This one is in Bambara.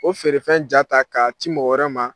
O feerefɛn ja ta k'a ci mɔgɔ wɛrɛ ma.